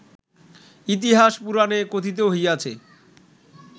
ইতিহাস পুরাণে কথিত হইয়াছে